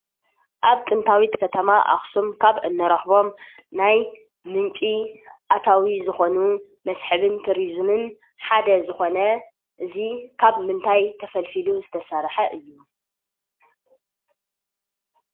አብ ጥንታዊት ከተማ አክሱም ካብ እንረኽቦም ናይ ምንጪ ኣታዊ ዝኾኑ መስሕብን ቱሪዝምን ሓደ ዝኾነ እዚ ካብ ምንታይ ተፈልፊሉ ዝተሰርሐ እዩ?